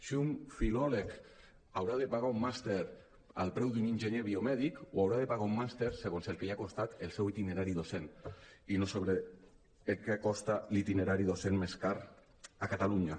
si un filòleg haurà de pagar un màster al preu d’un enginyer biomèdic o haurà de pagar un màster segons el que li ha costat el seu itinerari docent i no sobre el que costa l’itinerari docent més car a catalunya